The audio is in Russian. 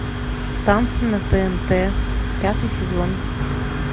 танцы на тнт пятый сезон